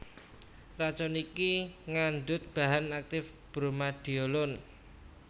Racun iki ngandhut bahan aktif Bromadiolon